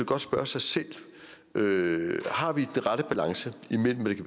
godt spørge sig selv har vi den rette balance imellem hvad det